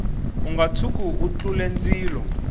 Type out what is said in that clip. unga tshuki u tlule ndzilo